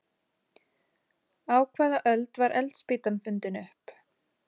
Á hvaða öld var eldspýtan fundin upp?